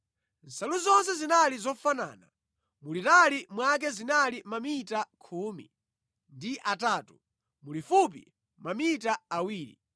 Nsalu zonse zinali zofanana. Mulitali mwake zinali mamita khumi ndi atatu, mulifupi mamita awiri.